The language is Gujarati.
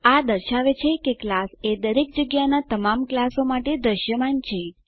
આ દર્શાવે છે કે ક્લાસ એ દરેક જગ્યાનાં તમામ ક્લાસો માટે દૃશ્યમાન છે